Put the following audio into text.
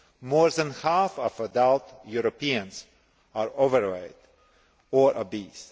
More than half of adult Europeans are overweight or obese.